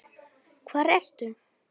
Hvar ertu?